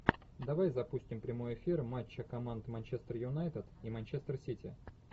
давай запустим прямой эфир матча команд манчестер юнайтед и манчестер сити